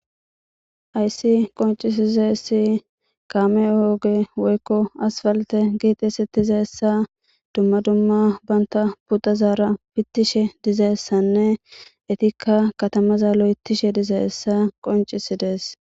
ayssi qoncisizeessi kaame ooge woykko aspalte giixesitizessa dumma dumma banta pudazaara fittishe dizeessanne etikka katamaza lo7etishe dizeessa qoncisidees